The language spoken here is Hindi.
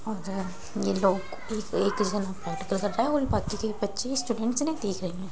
और ये लोग है और बाकी सभी बच्ची स्टूडेंट्स है ना देख रही हैं।